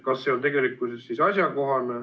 Kas see on asjakohane?